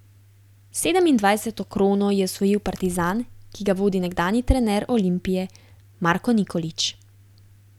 Sedemindvajseto krono je osvojil Partizan, ki ga vodi nekdanji trener Olimpije Marko Nikolić.